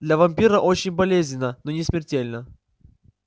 для вампира очень болезненно но не смертельно